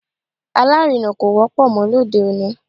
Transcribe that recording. Alárinà kò wọ́pọ̀ mọ́ lóde òní